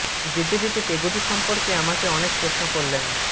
যেতে যেতে পেগোটি সম্পর্কে আমাকে অনেক প্রশ্ন করলেন মি